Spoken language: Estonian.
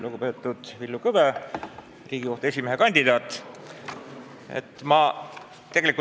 Lugupeetud Villu Kõve, Riigikohtu esimehe kandidaat!